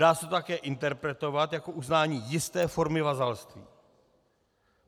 Dá se to také interpretovat jako uznání jisté formy vazalství.